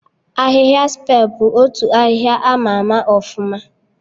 Ahịhịa Spe bụ otu ahịhịa ama ama ọfụma